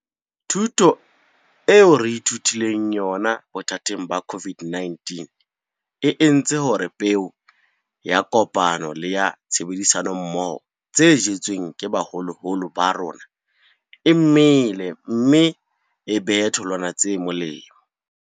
Thuto eo re ithutileng yona bothateng ba COVID-19 e entse hore peo ya kopano le ya tshebedisano mmoho tse jetsweng ke baholoholo ba rona e mele mme e behe tholwana tse molemo.